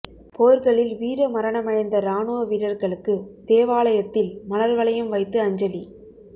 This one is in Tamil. போா்களில் வீர மரணமடைந்த ராணுவ வீரா்களுக்கு தேவாலயத்தில் மலா் வளையம் வைத்து அஞ்சலி